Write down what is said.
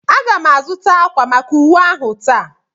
Aga m azụta ákwà maka uwe ahụ taa.